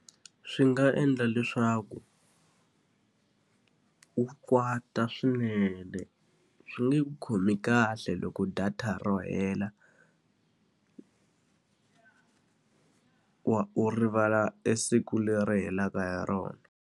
Swi nga endla leswaku u kwata swinene. Swi nge ku khomi kahle loko data ro hela u u rivala e siku leri helaka hi rona.